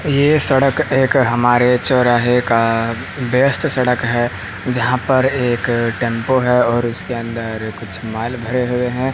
ये सड़क एक हमारे चौराहे का बेस्ट सड़क है जहां पर एक टेंपो है और उसके अंदर कुछ माल भरे हुए हैं।